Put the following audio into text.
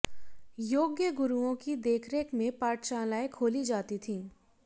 योग्य गुरुओं की देखरेख में पाठशालाएं खोली जाती थीं